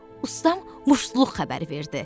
Ustam muştuluq xəbəri verdi.